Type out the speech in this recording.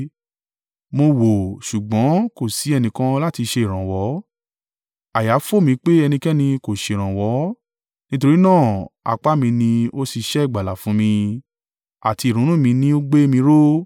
Mo wò, ṣùgbọ́n kò sí ẹnìkan láti ṣe ìrànwọ́. Àyà fò mí pé ẹnikẹ́ni kò ṣèrànwọ́; nítorí náà apá mi ni ó ṣiṣẹ́ ìgbàlà fún mi àti ìrunú mi ni ó gbé mi ró.